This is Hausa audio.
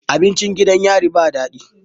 Abincin gidan yari ba dadi